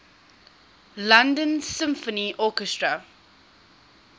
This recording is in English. london symphony orchestra